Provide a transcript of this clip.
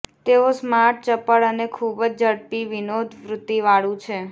તેઓ સ્માર્ટ ચપળ અને ખૂબ જ ઝડપી વિનોદવૃત્તિવાળું છે